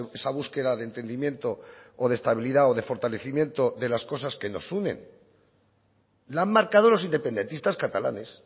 esa búsqueda de entendimiento o de estabilidad o de fortalecimiento de las cosas que nos unen la han marcado los independentistas catalanes